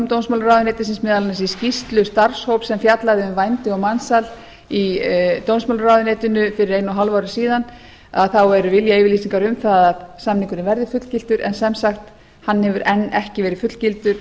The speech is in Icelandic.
dómsmálaráðuneytisins meðal annars í skýrslu starfshóps sem fjallaði um vændi og mansal í dómsmálaráðuneytinu fyrir einu og hálfu ári síðan að þá eru viljayfirlýsingar um að samningurinn verði fullgiltur en sem sagt hann hefur enn ekki verið fullgiltur